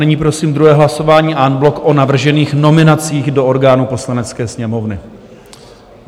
Nyní prosím druhé hlasování en bloc o navržených nominacích do orgánů Poslanecké sněmovny.